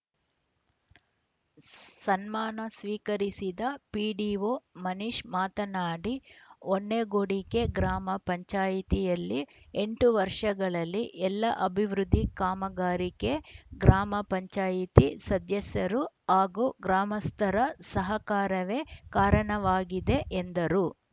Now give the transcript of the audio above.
ಸನ್ಮಾನ ಸ್ವೀಕರಿಸಿದ ಪಿಡಿಒ ಮನೀಶ್‌ ಮಾತನಾಡಿ ಹೊನ್ನೇಕೊಡಿಗೆ ಗ್ರಾಮ ಪಂಚಾಯಿತಿಯಲ್ಲಿ ಎಂಟು ವರ್ಷಗಳಲ್ಲಿ ಎಲ್ಲ ಅಭಿವೃದ್ಧಿ ಕಾಮಗಾರಿಕೆ ಗ್ರಾಮ ಪಂಚಾಯಿತಿ ಸದ್ಯಸರು ಹಾಗೂ ಗ್ರಾಮಸ್ಥರ ಸಹಕಾರವೇ ಕಾರಣವಾಗಿದೆ ಎಂದರು